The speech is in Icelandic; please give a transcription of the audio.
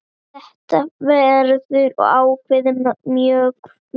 Þetta verður ákveðið mjög fljótt.